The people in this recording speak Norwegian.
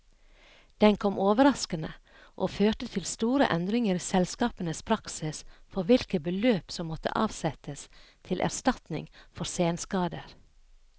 Den kom overraskende, og førte til store endringer i selskapenes praksis for hvilke beløp som måtte avsettes til erstatninger for senskader.